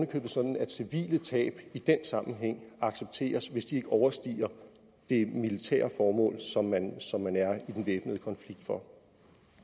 købet sådan at civile tab i den sammenhæng accepteres hvis de ikke overstiger det militære formål som man som man er i den væbnede konflikt for